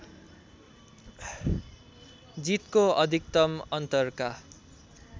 जितको अधिकतम अन्तरका